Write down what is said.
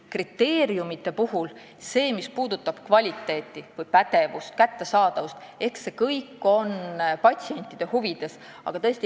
Kriteeriumitest nii palju, et kõik see, mis puudutab kvaliteeti, pädevust või kättesaadavust, on patsientide huvides.